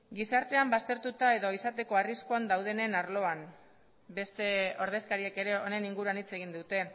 gizartean baztertuta edo izateko arriskuan daudenen arloan beste ordezkariek ere honen inguruan hitz egin dute